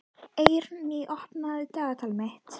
Eirný, opnaðu dagatalið mitt.